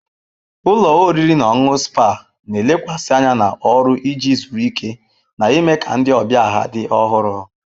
Ụlọ oriri na ọṅụṅụ spa na-elekwasị anya na ọrụ iji zuru ike na ime ka ndị ọbịa ha dị ọhụrụ.